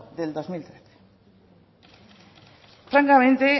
del dos mil trece francamente